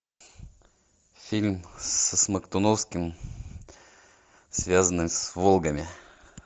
фильм со смоктуновским связанный с волгами